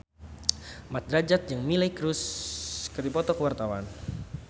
Mat Drajat jeung Miley Cyrus keur dipoto ku wartawan